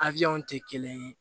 A tɛ kelen ye